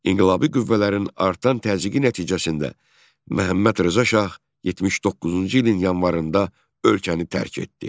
İnqilabi qüvvələrin artan təzyiqi nəticəsində Məhəmməd Rza Şah 79-cu ilin yanvarında ölkəni tərk etdi.